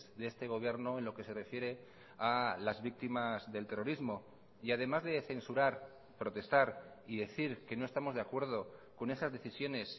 de este gobierno en lo que se refiere a las víctimas del terrorismo y además de censurar protestar y decir que no estamos de acuerdo con esas decisiones